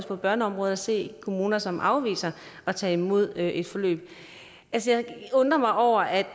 på børneområdet ser kommuner som afviser at tage imod et forløb altså jeg undrer mig over at